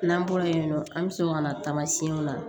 N'an bɔra yen nɔ an bɛ so ka na tamasiyɛnw la